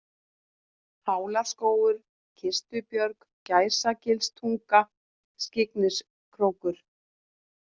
Hálárskógur, Kistubjörg, Gæsagilstunga, Skyggniskrókur